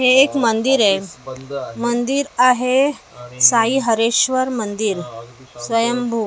हे एक मंदिर आहे मंदिर आहे साई हरेश्वर मंदिर स्वयंभू ती --